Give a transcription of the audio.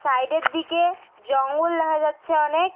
সাইডের দিকে জঙ্গল দেখা যাচ্ছে অনেক।